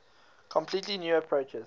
completely new approaches